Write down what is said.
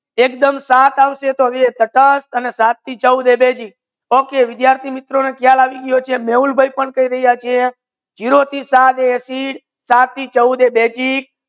એકદમ સાત આવસે તો તટસ્થ અને સાત થી ચૌદ હોય basic OKAY વિદ્યાર્થિ મિત્રો ને ખ્યાલ આવી ગઈ હસે મેહુલ ભાઈ પણ કહી રહી છે ઝીરો થી સાત acid સાત થી ચૌદ હોય બેઝીક